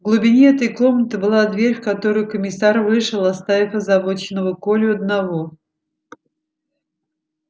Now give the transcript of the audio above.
в глубине этой комнаты была дверь в которую комиссар вышел оставив озабоченного колю одного